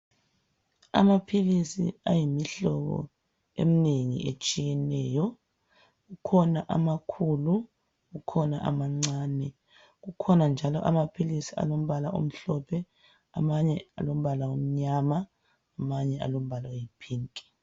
Amaphilisi ayimihlobo eminengi etshiyeneyo kukhona amakhulu kukhona amancane kukhona njalo amaphilisi alombala omhlophe amanye alombala omnyama amanye alombala ayi pink